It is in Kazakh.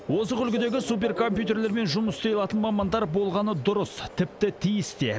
озық үлгідегі суперкомпьютерлермен жұмыс істей алатын мамандар болғаны дұрыс тіпті тиіс те